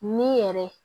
Ni yɛrɛ